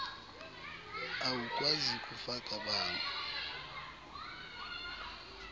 awukwazi kufaka bango